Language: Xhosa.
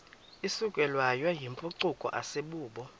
isukelwayo yimpucuko asibubo